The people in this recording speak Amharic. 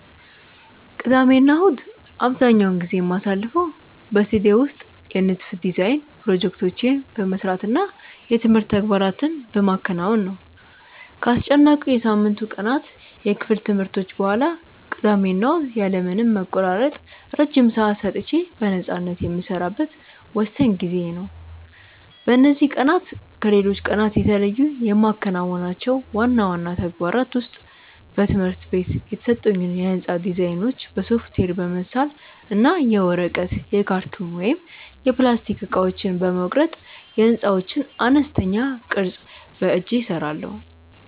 ቅዳሜና እሁድን አብዛኛውን ጊዜ የማሳልፈው በስቱዲዮ ውስጥ የንድፍ (Design) ፕሮጀክቶቼን በመስራት እና የትምህርት ተግባራትን በማከናወን ነው። ከአስጨናቂው የሳምንቱ ቀናት የክፍል ትምህርቶች በኋላ፣ ቅዳሜና እሁድ ያለ ምንም መቆራረጥ ረጅም ሰዓታት ሰጥቼ በነፃነት የምሰራበት ወሳኝ ጊዜዬ ነው። በእነዚህ ቀናት ከሌሎች ቀናት የተለዩ የማከናውናቸው ዋና ዋና ተግባራት ውስጥ በትምህርት ቤት የተሰጡኝን የሕንፃ ዲዛይኖች በሶፍትዌር በመሳል እና የወረቀት፣ የካርቶን ወይም የፕላስቲክ እቃዎችን በመቁረጥ የሕንፃዎችን አነስተኛ ቅርፅ በእጄ እሰራለሁ።